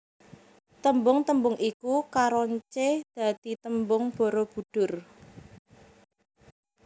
Tembung tembung iku karoncé dadi tembung Barabudhur